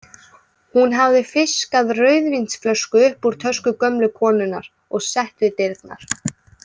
Hún hafði fiskað rauðvínsflösku upp úr tösku gömlu konunnar og sett við dyrnar.